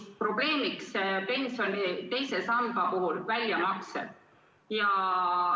Probleemiks on pensioni teisest sambast väljamaksed.